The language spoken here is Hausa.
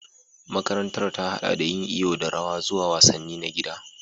Makarantar ta haɗa da yin iyo da rawa zuwa wasanni na gida